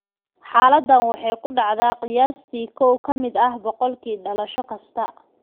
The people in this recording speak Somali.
Xaaladdan waxay ku dhacdaa qiyaastii 1 ka mid ah 1,000 dhalasho kasta.